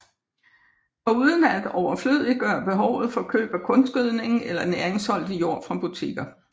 Foruden at overflødiggøre behovet for køb af kunstgødning eller næringsholdig jord fra butikker